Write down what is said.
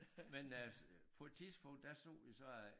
Men øh på et tidspunkt der så vi så en øh